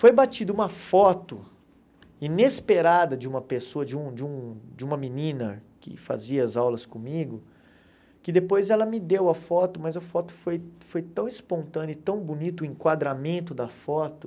Foi batida uma foto inesperada de uma pessoa, de um de um de uma menina que fazia as aulas comigo, que depois ela me deu a foto, mas a foto foi foi tão espontânea e tão bonita, o enquadramento da foto,